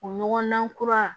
O ɲɔgɔndan kura